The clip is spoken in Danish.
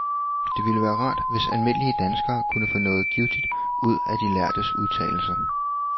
Det ville være rart, hvis almindelige danskere kunne få noget givtigt ud af de lærdes udtalelser.